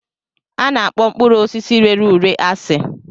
A na-akpọ mkpụrụ osisi rere ure asị